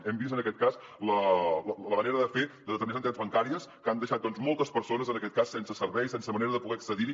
hem vist en aquest cas la manera de fer de determinades entitats bancàries que han deixat moltes persones en aquest cas sense servei i sense manera de poder accedir hi